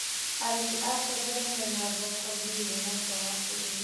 Arĩmi a terere mena thoko thĩiniĩ na nja wa bũrũri.